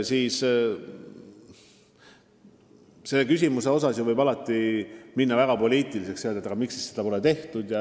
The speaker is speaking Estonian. Selles küsimuses võib alati minna väga poliitiliseks ja ette heita, miks siis seda pole tehtud.